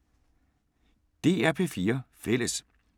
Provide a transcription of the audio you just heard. DR P4 Fælles